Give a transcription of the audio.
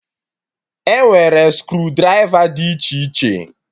E nwere screw drịva dị iche iche